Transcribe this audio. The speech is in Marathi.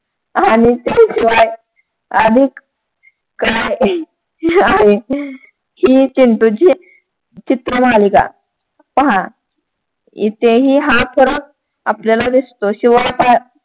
अधिक काय हे आहे हि चिंटूची चित्रमालिका पहा इथेही हा फरक आपल्याला दिसतो. शिवाय हा